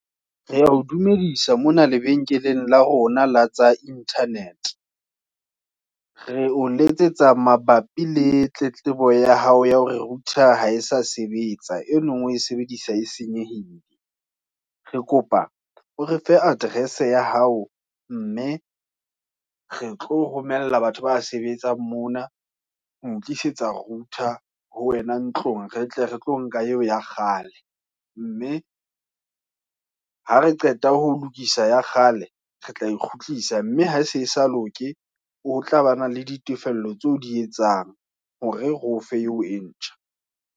Re ya o dumedisa mona lebenkeleng la rona la tsa internet, re o letsetsa mabapi le tletlebo ya hao ya hore router ha e sa sebetsa, enong o e sebedisa e senyehile. Re kopa o re fe address ya hao mme re tlo romela batho ba sebetsang mona, ho tlisetsa router ho wena ntlong re tle re tlo nka eo ya kgale. Mme ha re qeta holokisa ya kgale, re tla ikgutlisa, mme ha se sa loke. Ho tlabana le ditefello, tseo o di etsang, hore re ofe eo e ntjha.